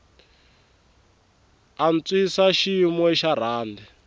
antswisa xiyimo xa rhandi